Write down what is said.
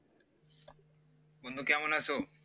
বন্ধু কেমন আছো